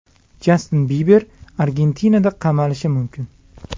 Jastin Biber Argentinada qamalishi mumkin.